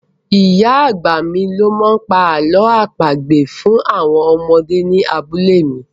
Ì̀yá àgbà mi ni ó máa ń pa àlọ́ àpagbè fún àwọn ọmọdé ní abúlé mi.